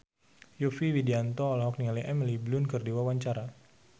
Yovie Widianto olohok ningali Emily Blunt keur diwawancara